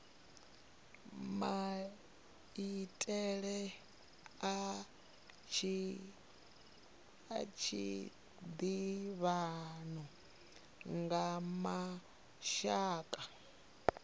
maitele a tshiḓivhano kha mashaka